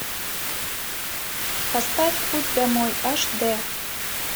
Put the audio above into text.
поставь путь домой аш д